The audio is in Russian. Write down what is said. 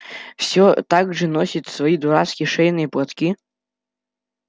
всё так же носит свои дурацкие шейные платки